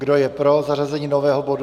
Kdo je pro zařazení nového bodu?